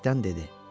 Bərkdən dedi: